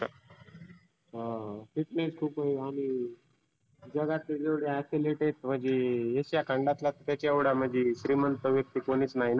हां fitness खुप आहे आणि जगातील जेव्हढे athletics म्हणजे asia खंडातला त्याच्या एवढा म्हणजी श्रिमंत व्यक्ती कोणिच नाही ना.